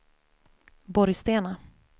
Borgstena